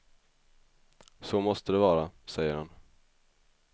Så måste det vara, säger han.